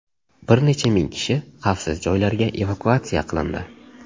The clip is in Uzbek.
Bir necha ming kishi xavfsiz joylarga evakuatsiya qilindi.